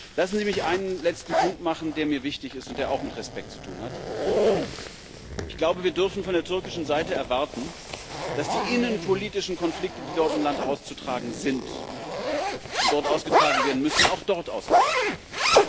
Lassen Sie mich einen letzten Punkt nennen, der mir wichtig ist und der auch mit Respekt zu tun hat Wir dürfen von der türkischen Seite erwarten, dass die innenpolitischen Konflikte, die dort im Land auszutragen sind und dort ausgetragen werden müssen, auch dort ausgetragen werden.